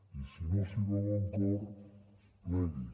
i si no s’hi veu en cor plegui